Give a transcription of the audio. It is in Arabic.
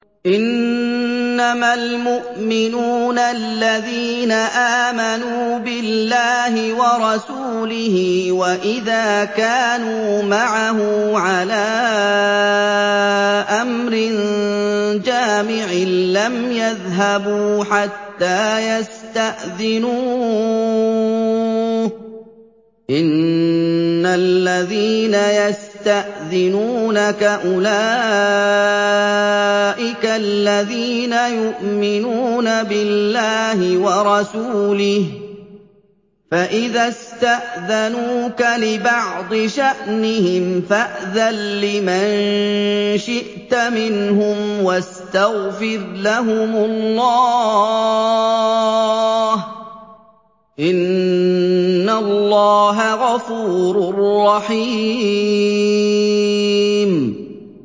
إِنَّمَا الْمُؤْمِنُونَ الَّذِينَ آمَنُوا بِاللَّهِ وَرَسُولِهِ وَإِذَا كَانُوا مَعَهُ عَلَىٰ أَمْرٍ جَامِعٍ لَّمْ يَذْهَبُوا حَتَّىٰ يَسْتَأْذِنُوهُ ۚ إِنَّ الَّذِينَ يَسْتَأْذِنُونَكَ أُولَٰئِكَ الَّذِينَ يُؤْمِنُونَ بِاللَّهِ وَرَسُولِهِ ۚ فَإِذَا اسْتَأْذَنُوكَ لِبَعْضِ شَأْنِهِمْ فَأْذَن لِّمَن شِئْتَ مِنْهُمْ وَاسْتَغْفِرْ لَهُمُ اللَّهَ ۚ إِنَّ اللَّهَ غَفُورٌ رَّحِيمٌ